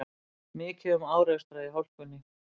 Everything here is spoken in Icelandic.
Mikið um árekstra í hálkunni